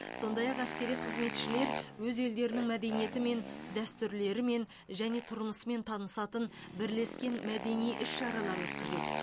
сондай ақ әскери қызметшілер өз елдерінің мәдениетімен дәстүрлерімен және тұрмысымен танысатын бірлескен мәдени іс шаралар өткізеді